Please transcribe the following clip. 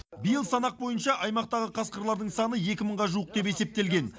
биыл санақ бойынша аймақтағы қасқырлардың саны екі мыңға жуық деп есептелген